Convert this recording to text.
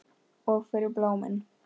Og fyrir blómin.